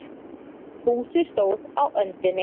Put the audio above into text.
Fúsi stóð á öndinni.